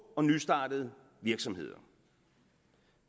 og nystartede virksomheder